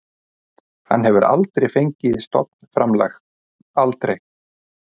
Hann hefur aldrei fengið stofnframlag, aldrei.